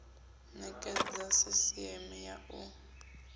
nekedza sisieme ya u rwela